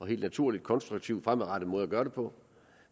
helt naturlig konstruktiv og fremadrettet måde at gøre det på